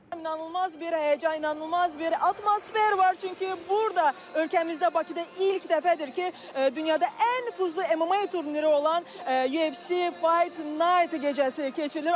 İnanılmaz bir həyəcan, inanılmaz bir atmosfer var, çünki burada ölkəmizdə Bakıda ilk dəfədir ki, dünyada ən nüfuzlu MMA turniri olan UFC Fight Night gecəsi keçirilir.